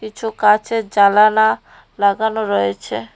কিছু কাঁচের জালানা লাগানো রয়েছে।